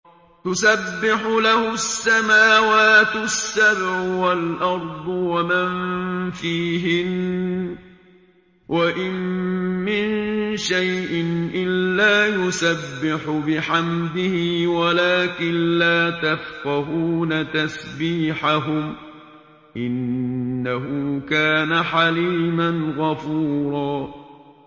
تُسَبِّحُ لَهُ السَّمَاوَاتُ السَّبْعُ وَالْأَرْضُ وَمَن فِيهِنَّ ۚ وَإِن مِّن شَيْءٍ إِلَّا يُسَبِّحُ بِحَمْدِهِ وَلَٰكِن لَّا تَفْقَهُونَ تَسْبِيحَهُمْ ۗ إِنَّهُ كَانَ حَلِيمًا غَفُورًا